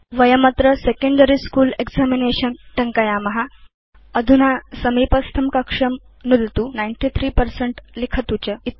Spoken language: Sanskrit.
वयमत्र सेकेण्डरी स्कूल एक्जामिनेशन् टङ्कयाम अधुना समीपस्थं कक्षं नुदतु 93 पर्सेंट लिखतु च